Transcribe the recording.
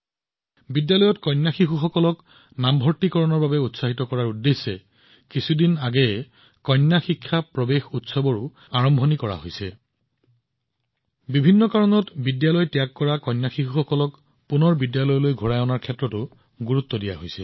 বিদ্যালয়ত ছোৱালীৰ নামভৰ্তি বৃদ্ধি কৰাৰ বাবে কেইদিনমান আগতে কন্যা শিক্ষা প্ৰৱেশ উৎসৱো আৰম্ভ কৰা হৈছে যিসকল ছোৱালীৰ শিক্ষা কোনো কাৰণত নহৈছে তেওঁলোকক বিদ্যালয়লৈ ঘূৰাই অনাৰ ওপৰত গুৰুত্ব দিয়া হৈছে